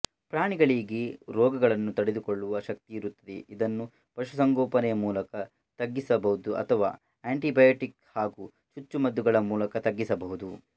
ಪ್ರಾಣಿಗಳಿಗೆ ರೋಗಗಳನ್ನು ತಡೆದುಕೊಳ್ಳುವ ಶಕ್ತಿಯಿರುತ್ತದೆ ಇದನ್ನು ಪಶು ಸಂಗೋಪನೆಯ ಮೂಲಕ ತಗ್ಗಿಸಬಹುದು ಅಥವಾ ಆಂಟಿಬಯಾಟಿಕ್ಸ್ ಹಾಗು ಚುಚ್ಚುಮದ್ದುಗಳ ಮೂಲಕ ತಗ್ಗಿಸಬಹುದು